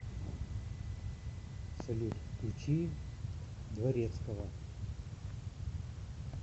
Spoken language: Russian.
салют включи дворецкова